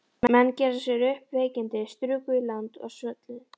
Menn gerðu sér upp veikindi, struku í land og svölluðu.